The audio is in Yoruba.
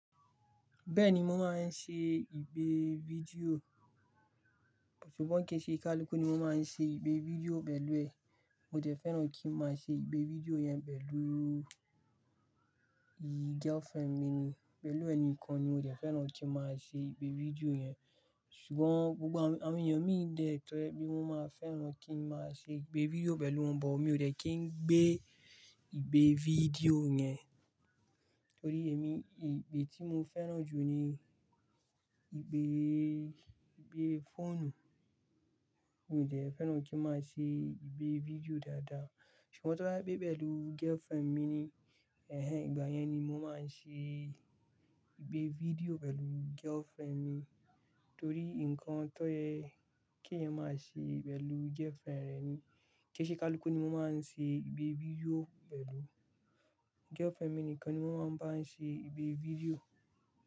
Bẹ́ẹ̀ni, mo máa ń ṣe ìpé fídíò, ṣùgbọ́n kìí ṣe kálukú ni mo máa ń ṣe ipé fídíò pẹ̀lú ẹ. Mo dẹ fẹ́ràn kí n máa ṣe ìpé fídíò yẹn pẹ̀lú girlfriend mi ni, pẹ̀lú ẹ nìkan ni mo dẹ fẹ́ràn kí n máa ṣe ìpé fídíò yẹn. Ṣùgbọ́n gbogbo àwọn ènìyàn mi dẹ̀ tọ́rẹ pé wọ́n máa fẹ́ràn kí n máa ṣe ìgbé fídíò pẹ̀lú wọn, but mi ò dẹ́ kí n gbé ìgbé fídíò yẹn. Torí èmi, ìgbé tí mo fẹ́ràn jù ni ìgbé, ìgbé fóònù. Mi ò jẹ́ fẹ́ràn kí n máa ṣe ìgbé fídíò dáadáa. Ṣùgbọ́n tí o bá jé pe pẹ̀lú girlfriend mi ni, ẹ̀hẹ̀n ìgbà yẹn ni mo máa ń ṣe ìgbé fídíò pẹ̀lú girlfriend mi. Torí nǹkan tọ́ye kí èyan máa ṣe pẹ̀lú girlfriend re nii, kì í ṣe kálukú ni mo máa ń ṣe ìgbé fídíò pẹ̀lú girlfriend mi nìkan ni mo máa ń bá ṣe ìgbé fídíò.